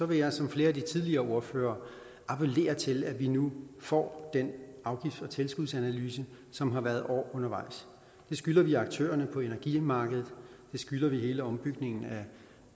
vil jeg som flere af de tidligere ordførere appellere til at vi nu får den afgifts og tilskudsanalyse som har været år undervejs det skylder vi aktørerne på energimarkedet det skylder vi hele ombygningen af